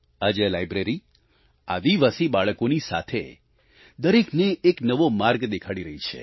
આજે આ લાઈબ્રેરી આદિવાસી બાળકોની સાથે દરેકને એક નવો માર્ગ દેખાડી રહી છે